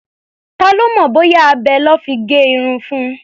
Ta ló mọ̀ bóyá abẹ lọ́ fi gé irun fun?